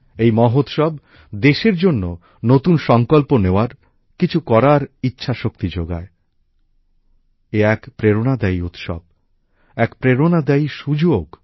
এই মহোৎসব দেশের জন্য নতুন সংকল্প নেওয়ার কিছু করার ইচ্ছাশক্তি জাগায় এ এক প্রেরণাদায়ী উৎসব এক প্রেরণাদায়ী সুযোগ